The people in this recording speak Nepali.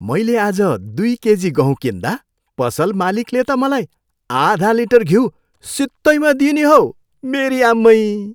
मैले आज दुई केजी गहुँ किन्दा पसल मालिकले त मलाई आधा लिटर घिउ सित्तैमा दिए नि हौ। मेरी आम्मै!